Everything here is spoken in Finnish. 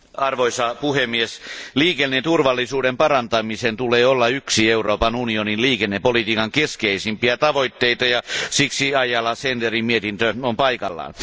Arvoisa puhemies, liikenneturvallisuuden parantamisen tulee olla yksi Euroopan unionin liikennepolitiikan keskeisempiä tavoitteita, ja siksi Ayala Senderin mietintö on paikallaan.